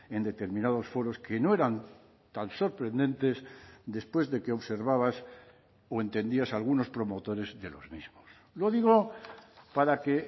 en determinados foros que no eran tan sorprendentes después de que observabas o entendías a algunos promotores de los mismos lo digo para que